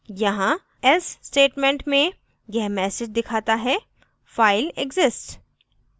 यहाँ else statement में यह message दिखाता है file exists